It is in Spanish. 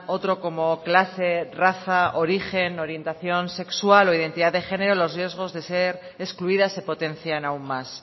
otro como clase raza origen orientación sexual o identidad de género los riesgos de ser excluidas se potencian aún más